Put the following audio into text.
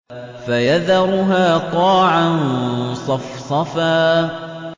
فَيَذَرُهَا قَاعًا صَفْصَفًا